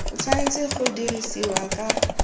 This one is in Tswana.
o tshwanetse go dirisiwa ka